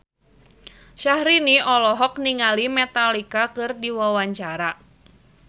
Syahrini olohok ningali Metallica keur diwawancara